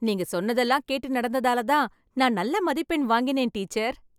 நீங்க சொன்னதெல்லாம் கேட்டு நடந்ததால தான் நான் நல்ல மதிப்பெண் வாங்கினேன் டீச்சர்.